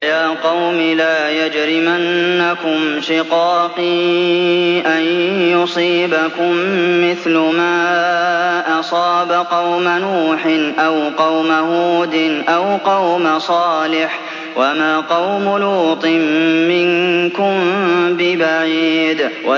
وَيَا قَوْمِ لَا يَجْرِمَنَّكُمْ شِقَاقِي أَن يُصِيبَكُم مِّثْلُ مَا أَصَابَ قَوْمَ نُوحٍ أَوْ قَوْمَ هُودٍ أَوْ قَوْمَ صَالِحٍ ۚ وَمَا قَوْمُ لُوطٍ مِّنكُم بِبَعِيدٍ